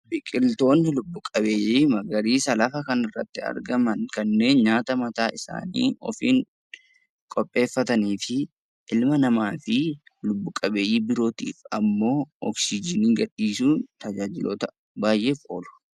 Biqiltoonni lubbu-qabeeyyii magariisa lafa kanarratti argaman kanneen nyaata mataa isaanii ofiin qopheeffatanii fi ilma namaa fi lubbu-qabeeyyii birootiif ammoo oksiijiinii gad dhiisuun tajaajiloota baay'eef oolu.